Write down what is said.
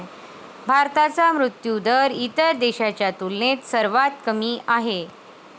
भारताचा मृत्यूदर इतर देशांच्या तुलनेत सर्वात कमी आहे.